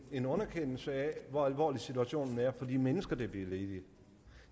en underkendelse af hvor alvorlig situationen er for de mennesker der bliver ledige